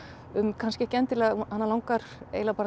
um kannski ekki endilega hana langar eiginlega bara